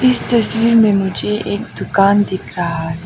इस तस्वीर में मुझे एक दुकान दिख रहा है।